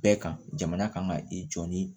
Bɛɛ kan jamana kan ka i jɔ ni